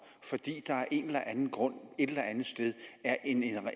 fordi der af en eller anden grund et eller andet sted er en